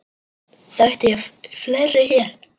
Þekkti ég fleiri hér?